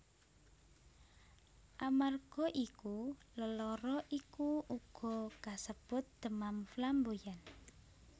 Amarga iku lelara iku uga kasebut demam flamboyan